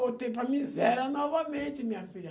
Voltei para a miséria novamente, minha filha.